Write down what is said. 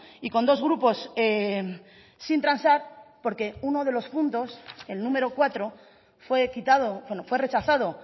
y con dos grupos sin transar porque uno de los puntos el número cuatro fue quitado fue rechazado